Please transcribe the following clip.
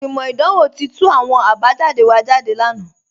Ìgbimọ́ idanwò ti tú àwọn àbájàdé wa jádé lánà